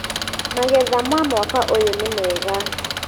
Magetha ma mwaka ũyũ nĩ mega.